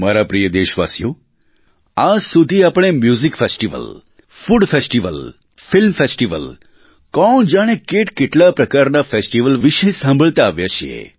મારા પ્રિય દેશવાસીઓ આજ સુધી આપણે music festival food festival film festival કોણ જાણે કેટકેટલા પ્રકારના ફેસ્ટિવલ વિશે સાંભળતા આવ્યા છીએ